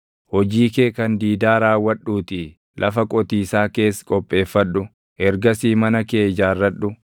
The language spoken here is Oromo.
Hojii kee kan diidaa raawwadhuutii lafa qotiisaa kees qopheeffadhu; ergasii mana kee ijaarradhu.